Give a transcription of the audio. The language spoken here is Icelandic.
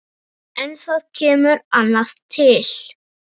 En það kemur annað til.